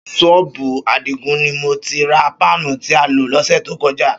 Ṣọ́ọ̀bù Àdìgún ni mo ti ra páànù tí a lò lọ́sẹ̀ tó kọjá